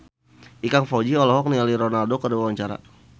Ikang Fawzi olohok ningali Ronaldo keur diwawancara